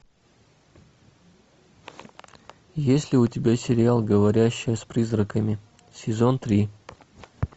есть ли у тебя сериал говорящая с призраками сезон три